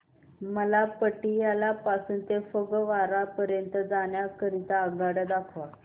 मला पटियाला पासून ते फगवारा पर्यंत जाण्या करीता आगगाड्या दाखवा